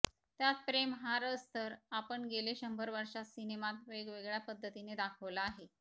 त्यात प्रेम हा रस तर आपण गेले शंभर वर्षात सिनेमात वेगवेगळ्या पद्धतीने दाखविला आहे